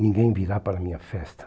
Ninguém virá para minha festa.